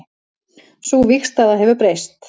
Sú vígstaða hefur breyst